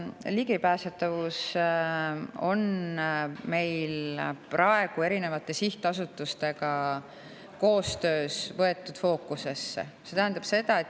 Ligipääsetavus on meil koostöös erinevate sihtasutustega fookusesse võetud.